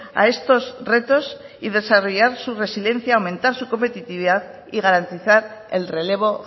a estos retos y desarrollar su residencia aumentar su competitividad y garantizar el relevo